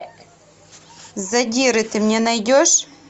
задиры ты мне найдешь